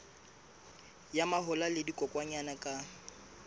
ya mahola le dikokwanyana ka